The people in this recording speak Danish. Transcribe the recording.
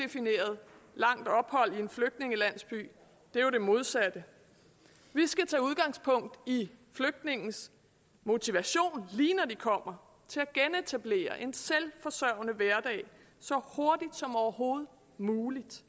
en flygtningelandsby er jo det modsatte vi skal tage udgangspunkt i flygtningenes motivation lige når de kommer til at genetablere en selvforsørgende hverdag så hurtigt som overhovedet muligt